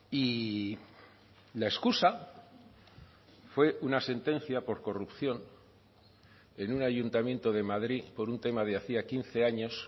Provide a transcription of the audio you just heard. y la excusa fue una sentencia por corrupción en un ayuntamiento de madrid por un tema de hacía quince años